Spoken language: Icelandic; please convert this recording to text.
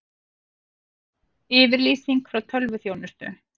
Yfirlýsing frá tölvuþjónustu